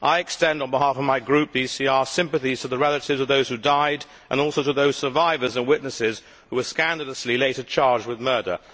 I extend, on behalf of my group, the ECR, sympathy to the relatives of those who died and also to those survivors and witnesses who were scandalously later charged with murder.